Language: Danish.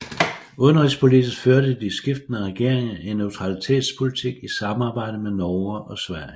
Udenrigspolitisk førte de skiftende regeringer en neutralitetspolitik i samarbejde med Norge og Sverige